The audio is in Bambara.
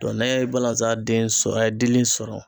n'a ye balazan den sɔrɔ a ye dili sɔrɔ